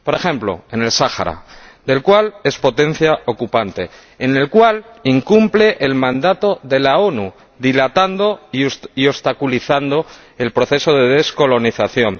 Por ejemplo, en el Sáhara, del cual es potencia ocupante y en el cual incumple el mandato de las Naciones Unidas, dilatando y obstaculizando el proceso de descolonización.